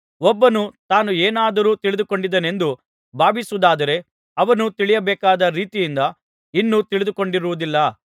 ಒಬ್ಬನು ತಾನು ಏನಾದರೂ ತಿಳಿದುಕೊಂಡಿದ್ದೇನೆಂದು ಭಾವಿಸುವುದಾದರೆ ಅವನು ತಿಳಿಯಬೇಕಾದ ರೀತಿಯಿಂದ ಇನ್ನೂ ತಿಳಿದುಕೊಂಡಿರುವುದಿಲ್ಲ